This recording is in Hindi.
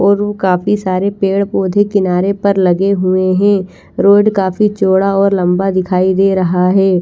और वो काफी सारे पेड़ पौधे किनारे पर लगे हुए है रोड काफी लंबा और चौड़ा दिखाई दे रहा है।